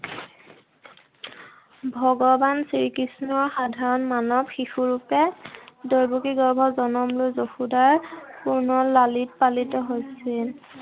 ভগৱান শ্ৰীকৃষ্ণ সাধৰণ মানৱ শিশু ৰূপে দৈৱকীৰ গৰ্ভত জনম লৈ যশোদাৰ পুনৰ লালিত-পালিত হৈছিল।